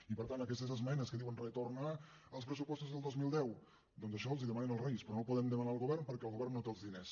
i per tant aquestes esmenes que diuen retornar als pressupostos del dos mil deu doncs això els ho demanen als reis però no ho poden demanar al govern perquè el govern no té els diners